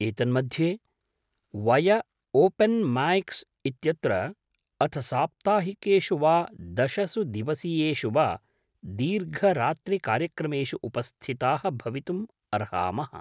एतन्मध्ये वय open mics इत्यत्र अथ साप्ताहिकेषु वा दशसु दिवसीयेषु वा दीर्घरात्रिकार्यक्रमेषु उपस्थिताः भवितुम् अर्हामः।